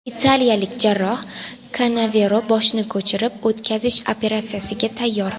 Italiyalik jarroh Kanavero boshni ko‘chirib o‘tkazish operatsiyasiga tayyor.